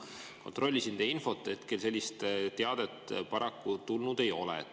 Kontrollisin teie infot, hetkel sellist teadet paraku tulnud ei ole.